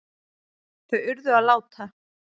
Þau urðu að láta